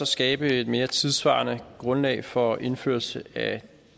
skabe et mere tidssvarende grundlag for indførelse af